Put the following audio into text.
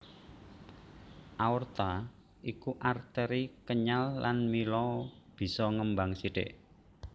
Aorta iku arteri kenyal lan mila bisa ngembang sithik